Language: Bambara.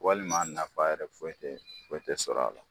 Walima nafa yɛrɛ foyi tɛ foyi tɛ sɔrɔ a la.